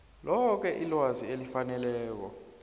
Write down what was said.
loke ilwazi elifaneleko